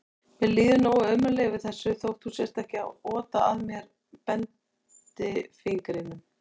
Mér líður nógu ömurlega yfir þessu þótt þú sért ekki að ota að mér bendifingrinum.